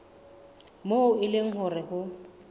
moo e leng hore ho